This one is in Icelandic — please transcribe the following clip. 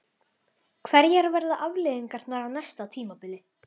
Hverjar verða afleiðingarnar á næsta tímabili?